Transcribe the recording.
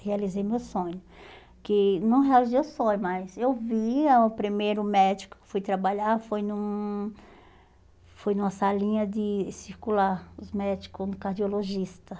Realizei meu sonho, que não realizei o sonho, mas eu vi a o primeiro médico que fui trabalhar, foi num foi numa salinha de circular, os médicos, um cardiologista.